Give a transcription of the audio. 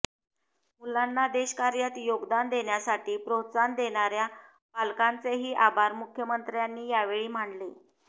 मुलांना देशकार्यात योगदान देण्यासाठी प्रोत्साहन देणाऱ्या पालकांचेही आभार मुख्यमंत्र्यांनी यावेळी मानले